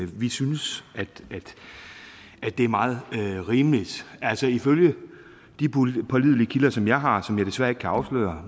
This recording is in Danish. vi synes at det er meget rimeligt ifølge de pålidelige kilder som jeg har som jeg desværre ikke kan afsløre